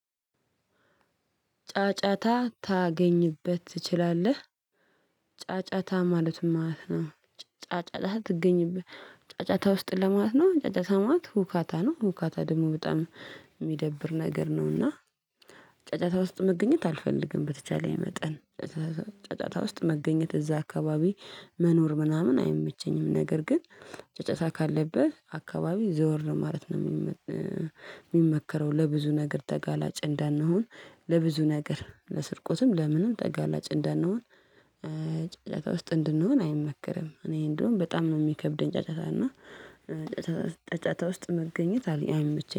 ጫጫታ ታገኝበት ትችላለህ። ጫጫታ ማለት ምን ማለት ነው? ጫጫታ ትገኝበት ጫጫታ ውስጥ ለማለት ነው። ጫጫታ ማለት ሁካታ ነው። ሁካታ ደግሞ በጣም የሚደብር ነገር ነው። እና ጫጫታ ውስጥ መገኘት አልፈልግም። በተቻለ መጠን ጫጫታ ውስጥ መገኘት እዛ አካባቢ መኖር ምናምን አይመቸኝም። ነገር ግን። ጫጫታ ካለብ አካባቢ ዘወር ማለት ነው የሚመከረው። ለብዙ ነገር ተጋላጭ እንዳንሆን ለብዙ ነገር ለስርቆትም ለምንም ተጋላጭ እንዳንሆን። ጫጫታ ውስጥ እንድንሆን አይመከርም። እኔ እንደውም በጣም ነው የሚከብደኝ። ጫጫታ እና ጫጫታ ውስጥ መገኘት አይመቸኝም